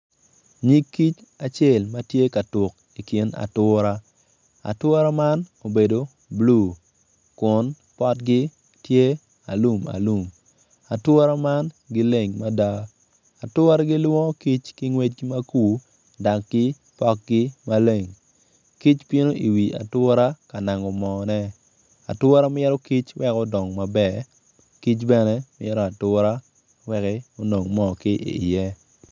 Nyig kic acel ma tye ka tuk ikin ature, ature man obed blue kun potgi tye alum alum atire man gileng mada ature gilwongo kic ki ngwecgi ma kur dok ki pokgi maleng kic bino i wi ature ka nango moo ne ature mito kic wek odong maber kic bene mito ature wek onong moo ki iye